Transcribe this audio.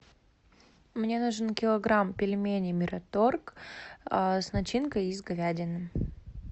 мне нужен килограмм пельменей мираторг с начинкой из говядины